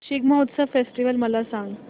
Shigmotsav festival मला सांग